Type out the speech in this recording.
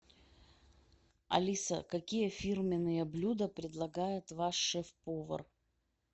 алиса какие фирменные блюда предлагает ваш шеф повар